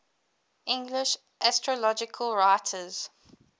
english astrological writers